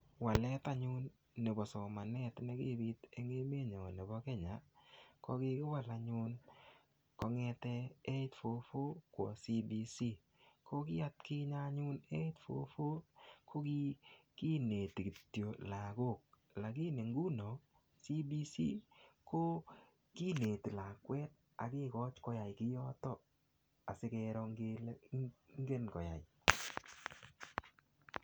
Walet anyun nebo somanet ne kipit eng emet nyo nebo Kenya, ko kigiwal anyun kongete 844 kwo CBC. Ko ki atkinye anyun, 844 ko kigineti kityo lagok lagini inguno CBC ko kineti lakwet ak kegochi koyai kiyoto asigero kele ingen koyai.